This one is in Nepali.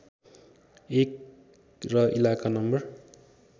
१ र इलाका नम्बर